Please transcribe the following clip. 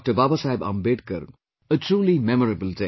Babasaheb Ambedkar, a truly memorable day